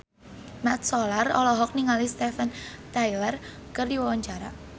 Mat Solar olohok ningali Steven Tyler keur diwawancara